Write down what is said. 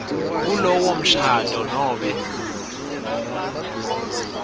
kulowo mshado nobe